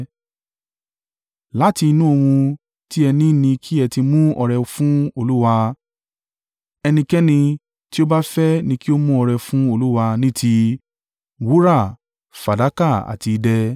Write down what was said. Láti inú ohun tí ẹ ni ni kí ẹ ti mú ọrẹ fún Olúwa. Ẹnikẹ́ni tí ó bá fẹ́ ni kí ó mú ọrẹ fún Olúwa ní ti: “wúrà, fàdákà àti idẹ;